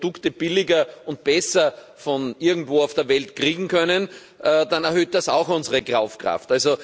Wenn wir Produkte billiger und besser von irgendwo auf der Welt kriegen können, dann erhöht das auch unsere Kaufkraft.